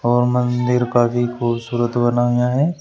और मंदिर काफी खूबसूरत बनाया है।